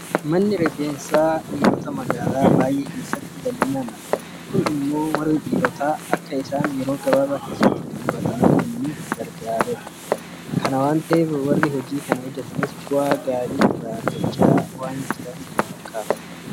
Manni rifeensaa dhiirotaa magaalaa baay'ee keessatti bal'inaan argama. Kun immoo warri dhiirotaa akka isaan yeroo gabaabaa keessatti xummuratanii deemaniif gargaareera. Kana waanta ta'eef warri hojii kana hojjetanis bu'aa gaarii irraa argachaa waanta jiraniif itti fufinsaan hojjechaa jiru.